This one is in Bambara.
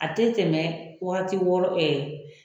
A te tɛmɛ wagati wɔɔrɔ ɛɛ